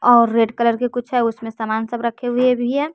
और red colour के कुछ है उसमें सामान सब रखे हुए भी है।